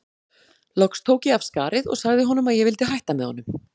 Loks tók ég af skarið og sagði honum að ég vildi hætta með honum.